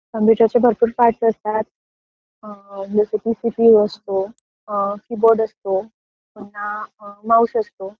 कॉम्प्युटरचे भरपूर पार्ट्स असतात.जस की सीपीयू असतो, कीबोर्ड असतो, माऊस असतो.